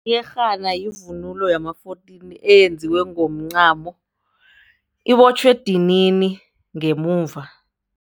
Iyerhana yivunulo yama-fourteen eyenziwe ngomncamo, ibotjhwa edinini ngemuva.